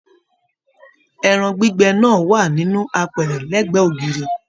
Ẹran gbígbẹ náà wà nínú àpẹrẹ l'ẹgbẹ ògiri.